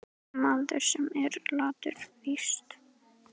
Maður, sem er latur víst.